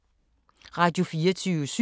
Radio24syv